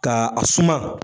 Ka a suma.